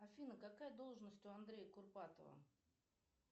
афина какая должность у андрея курпатова